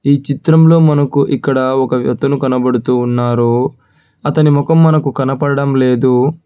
ఈ చిత్రంలో మనకు ఇక్కడ ఒక వ్యతను కనబడుతూ వున్నారు అతని మొఖం మనకు కనపడడం లేదు.